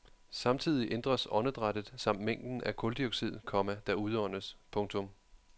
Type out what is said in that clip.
Samtidig ændres åndedrættet samt mængden af kuldioxid, komma der udåndes. punktum